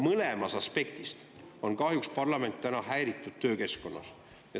Mõlemas aspektis on parlament täna kahjuks häiritud töökeskkonnas.